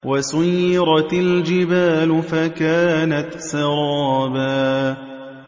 وَسُيِّرَتِ الْجِبَالُ فَكَانَتْ سَرَابًا